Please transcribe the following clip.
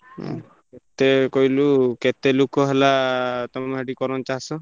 ହୁଁ ମତେ କହିଲୁ କେ ତେ ଲୋକ ହେଲା ତମର ସେଠି କରନ୍ତି ଚାଷ?